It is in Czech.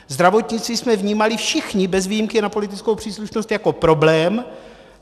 Zdravotnictví jsme vnímali všichni bez ohledu na politickou příslušnost jako problém.